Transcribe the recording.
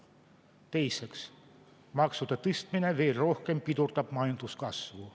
Teiseks, maksude tõstmine veel rohkem pidurdab majanduskasvu.